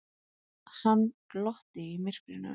Hann glotti í myrkrinu.